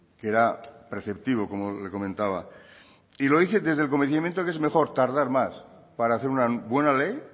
que era preceptivo como le comentaba y lo hice desde el convencimiento que es mejor tardar más para hacer una buena ley